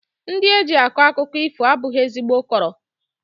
Ndị eji akọ akụkọ ifo abụghị ezigbo kọọrọ